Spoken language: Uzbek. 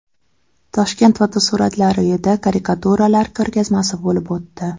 Toshkent Fotosuratlar uyida karikaturalar ko‘rgazmasi bo‘lib o‘tdi.